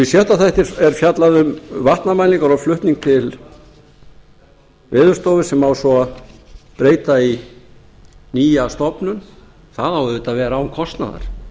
sjötta þætti er fjallað um vatnamælingar og flutning til veðurstofu sem á svo að breyta í nýja stofnun það á auðvitað að vera án kostnaðar